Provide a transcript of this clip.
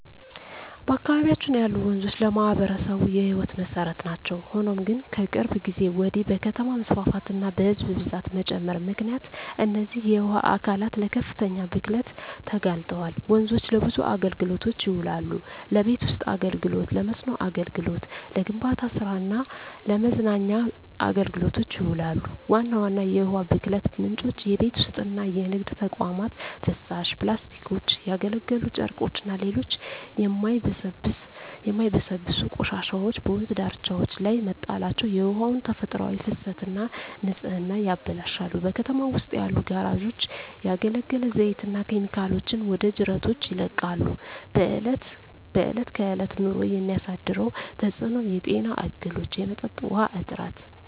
በአካባቢያችን ያሉ ወንዞች ለማኅበረሰቡ የሕይወት መሠረት ናቸው። ሆኖም ግን፣ ከቅርብ ጊዜ ወዲህ በከተማ መስፋፋትና በሕዝብ ብዛት መጨመር ምክንያት እነዚህ የውሃ አካላት ለከፍተኛ ብክለት ተጋልጠዋል። ወንዞች ለብዙ አገልግሎቶች ይውላሉ። ለቤት ውስጥ አገልግሎ፣ ለመስኖ አገልግሎት፣ ለግንባታ ስራ እና ለመዝናኛ አገልግሎቶች ይውላሉ። ዋና ዋና የውሃ ብክለት ምንጮች:- የቤት ውስጥና የንግድ ተቋማት ፍሳሽ፣ ፕላስቲኮች፣ ያገለገሉ ጨርቆችና ሌሎች የማይበሰብሱ ቆሻሻዎች በወንዝ ዳርቻዎች ላይ መጣላቸው የውሃውን ተፈጥሯዊ ፍሰትና ንጽህና ያበላሻሉ። በከተማው ውስጥ ያሉ ጋራዦች ያገለገለ ዘይትና ኬሚካሎችን ወደ ጅረቶች ይለቃሉ። በእለት በእለት ኑሮ የሚያሳድረው ተጽኖ:- የጤና እክሎች፣ የመጠጥ ውሀ እጥረት…